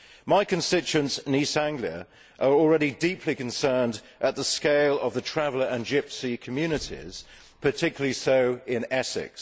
My constituents in East Anglia are already deeply concerned at the scale of the traveller and gypsy communities, particularly so in Essex.